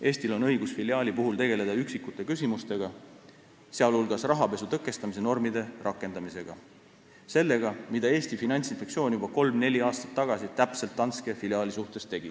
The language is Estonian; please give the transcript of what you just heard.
Eestil on õigus filiaali puhul tegelda üksikute küsimustega, sh rahapesu tõkestamise normide rakendamisega, ehk sellega, mida Eesti Finantsinspektsioon juba kolm-neli aastat tagasi Danske filiaali suhtes tegi.